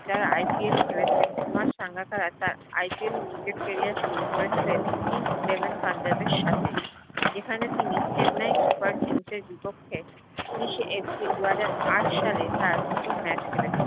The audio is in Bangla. যার IPL খেলেছেন কুমার সাঙ্গাকারা তার IPL এ cricket career শুরু করেছিলেন Kings 11 পাঞ্জাব এর সাথে যেখানে তিনি চেনাই Super Kings এর বিপক্ষে উনিশে এপ্রিল দু হাজার আট সালে তার প্রথম match খেলেছে